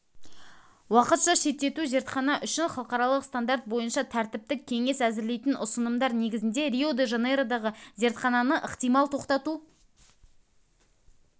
уақытша шеттету зертхана үшін халықаралық стандарт бойынша тәртіптік кеңес әзірлейтін ұсынымдар негізінде рио-де-жанейродағы зертхананы ықтимал тоқтату